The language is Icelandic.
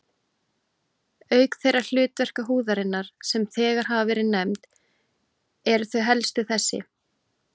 Auk þeirra hlutverka húðarinnar, sem þegar hafa verið nefnd, eru þau helstu þessi